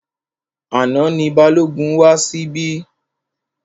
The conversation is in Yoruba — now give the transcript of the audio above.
Àná ni Balógun wá síbí.